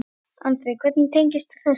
Andri: Hvernig tengist þú þessu?